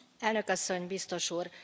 Elnök Asszony, Biztos Úr!